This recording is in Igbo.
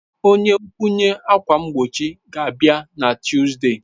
Onye nkwụnye ákwà mgbochi ga-abịa na Tuzdee.